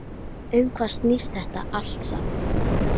Um hvað snýst þetta allt saman?